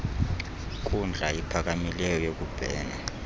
nkundla iphakamileyo yokubhena